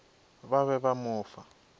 ba be ba mo fa